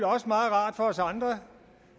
også meget rart for os andre